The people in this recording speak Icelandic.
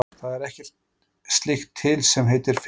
Það er ekkert slíkt til sem heitir fegurð.